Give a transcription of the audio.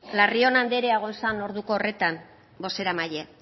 larrion andrea egon zen orduko horretan bozeramaile